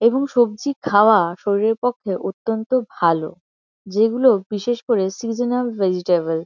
এবং সবজি খাওয়া শরীরের পক্ষে অত্যন্ত ভালো যেগুলো বিশেষ করে সিজেনাল ভেজিটেবল ।